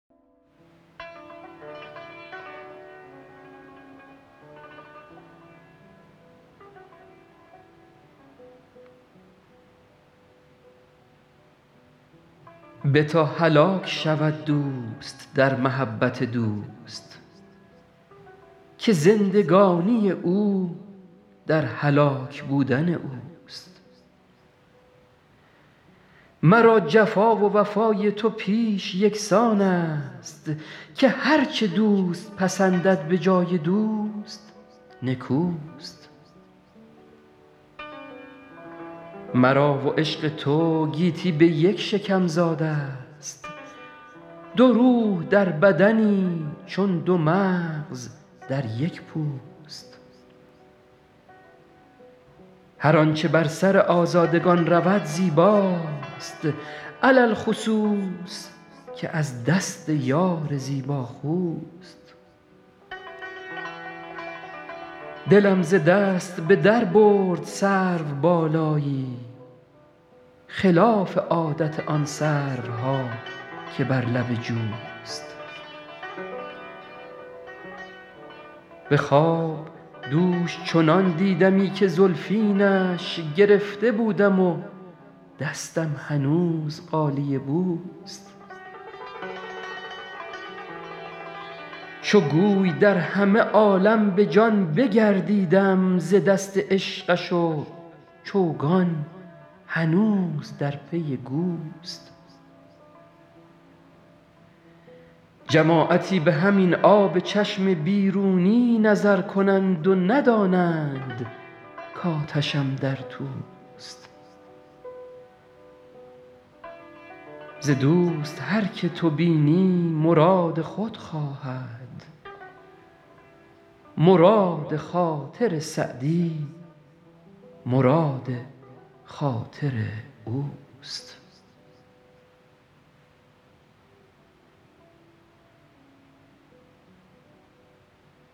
بتا هلاک شود دوست در محبت دوست که زندگانی او در هلاک بودن اوست مرا جفا و وفای تو پیش یکسان است که هر چه دوست پسندد به جای دوست نکوست مرا و عشق تو گیتی به یک شکم زاده ست دو روح در بدنی چون دو مغز در یک پوست هر آنچه بر سر آزادگان رود زیباست علی الخصوص که از دست یار زیباخوست دلم ز دست به در برد سروبالایی خلاف عادت آن سروها که بر لب جوست به خواب دوش چنان دیدمی که زلفینش گرفته بودم و دستم هنوز غالیه بوست چو گوی در همه عالم به جان بگردیدم ز دست عشقش و چوگان هنوز در پی گوست جماعتی به همین آب چشم بیرونی نظر کنند و ندانند کآتشم در توست ز دوست هر که تو بینی مراد خود خواهد مراد خاطر سعدی مراد خاطر اوست